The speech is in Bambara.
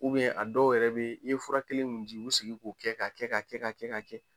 a dɔw yɛrɛ be yen, i ye fura kelen mun di, i bi segin k'o kɛ ka kɛ ka kɛ ka kɛ ka kɛ.